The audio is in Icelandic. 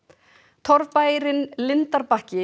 torfbærinn